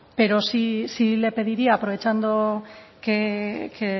pero sí le pediría aprovechando que